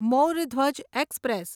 મોર Dhwaj express